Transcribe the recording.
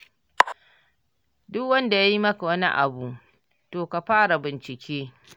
Duk wanda ya yi maka wani abu, to ka fara bincike.